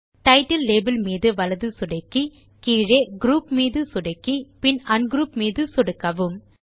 title label மீது வலது சொடுக்கி பின் கீழே குரூப் மீது சொடுக்கி பின் அன்க்ரூப் மீது சொடுக்கவும்